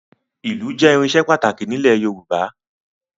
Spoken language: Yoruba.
Ìlù jẹ́ irinṣẹ́ pàtàkì nílẹ̀ Yorùbá